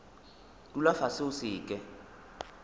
dula fase o se ke